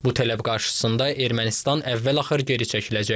Bu tələb qarşısında Ermənistan əvvəl-axır geri çəkiləcək.